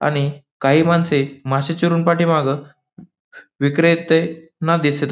आणि काही माणसे मासे चिरून पाठीमागं विक्रेते ना दिसत --